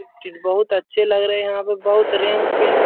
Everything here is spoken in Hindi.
ये चीज बहुत अच्छे लग रहे हैं यहाँ पे बहुत रेंग पेंट --